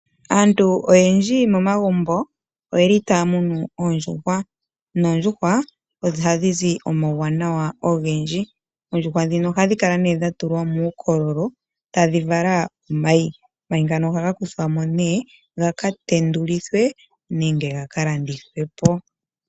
Aantu oyendji momagumbo oye li ta ya munu oondjuhwa, noondjuhwa ohadhi zi omauwanawa ogendji. Oondjuhwa ndhino ohadhi kala dhatulwa muukololo, ta dhi vala omayi. Omayi ngano ohakuthwa mo nee ga ka tendulwithe nenge ga ka landithwe po.